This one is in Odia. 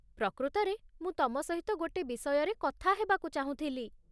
ପ୍ରକୃତରେ, ମୁଁ ତମ ସହିତ ଗୋଟେ ବିଷୟରେ କଥା ହେବାକୁ ଚାହୁଁଥିଲି